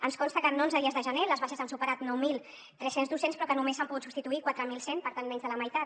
ens consta que en onze dies de gener les baixes han superat nou mil tres cents docents però que només se n’han pogut substituir quatre mil cent per tant menys de la meitat